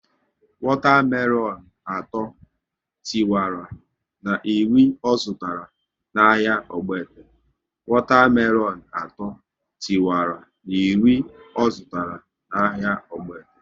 Wata melonu atọ tiwara na iri ọ zụtara na ahịa Ogbete